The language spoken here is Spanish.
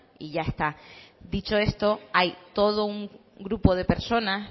y ya está dicho esto hay todo un grupo de personas